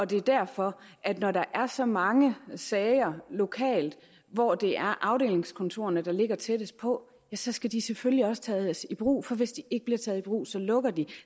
det er derfor at når der er så mange sager lokalt hvor det er afdelingskontorerne der ligger tættest på så skal de selvfølgelig også tages i brug for hvis de ikke bliver taget i brug lukker de